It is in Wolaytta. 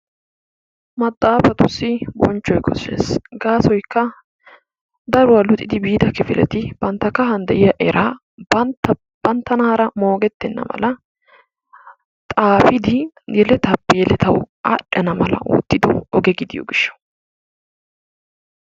Maxaafatuussi bochchoy kooshshees. gaasoykka daruwaa luxidi biida kifileti bantta kahaan de'iyaa eraa banttanaara moogettenna mala xaafidi yelettape yelettawu aadhdhana mala oottido oge gidiyoo giishshaw.